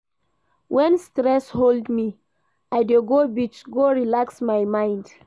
Wen stress hold me, I dey go beach go relax my mind.